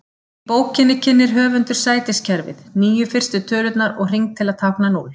Í bókinni kynnir höfundur sætiskerfið, níu fyrstu tölurnar og hring til að tákna núll.